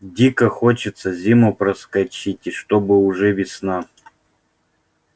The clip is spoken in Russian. дико хочется зиму проскочить и чтобы уже весна